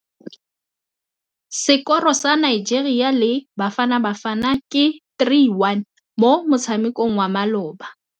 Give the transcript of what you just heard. Sekôrô sa Nigeria le Bafanabafana ke 3-1 mo motshamekong wa malôba.